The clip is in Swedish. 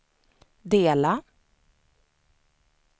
dela